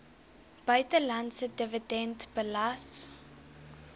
buitelandse dividend belas